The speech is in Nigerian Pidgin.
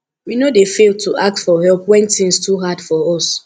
we no dey fail to ask for help when tins too hard for us